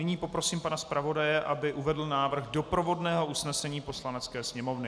Nyní poprosím pana zpravodaje, aby uvedl návrh doprovodného usnesení Poslanecké sněmovny.